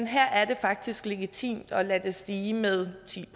her er det faktisk legitimt at lade det stige med ti